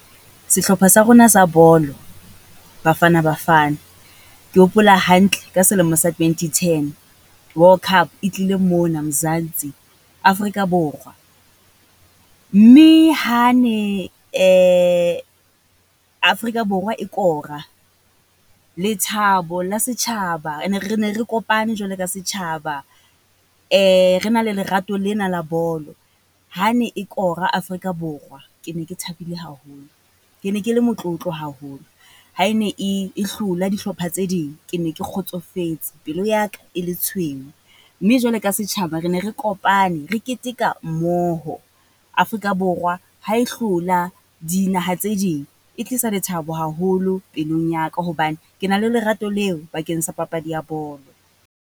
Sehlopha sa rona sa bolo, Bafana Bafana. Ke hopola hantle ka selemo sa twenty ten, world cup e tlile mona Mzanzi, Afrika Borwa. Mme ha ne Africa Borwa e kora, lethabo la setjhaba, re ne re kopane jwalo ka setjhaba. Re na le lerato lena la bolo, ha ne e kora Afrika Borwa, ke ne ke thabile haholo. Ke ne ke le motlotlo haholo, ha e ne e, e hlola dihlopha tse ding, ke ne ke kgotsofetse, pelo ya ka e le tshweu. Mme jwalo ka setjhaba re ne re kopane re keteka mmoho, Afrika Borwa ha e hlola dinaha tse ding. E tlisa lethabo haholo pelong ya ka, hobane ke na le lerato leo bakeng sa papadi ya bolo.